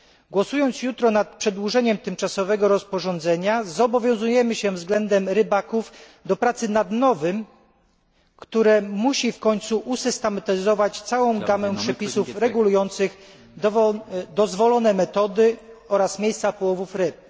Głosując jutro nad przedłużeniem tymczasowego rozporządzenia, zobowiązujemy się względem rybaków do pracy nad nowym rozporządzeniem, które musi w końcu usystematyzować całą gamę przepisów regulujących dozwolone metody oraz miejsca połowów ryb.